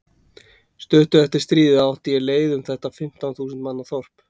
Stuttu eftir stríðið átti ég leið um þetta fimmtán þúsund manna þorp.